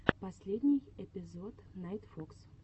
последний эпизод найтфокс